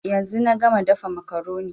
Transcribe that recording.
Yanzu na gama dafa makaroni